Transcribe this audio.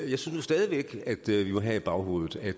jeg synes stadig væk vi må have i baghovedet at